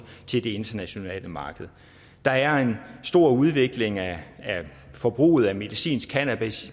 til det internationale marked der er en stor udvikling af forbruget af medicinsk cannabis